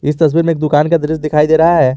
इस तस्वीर में एक दुकान का दृश्य दिखाई दे रहा है।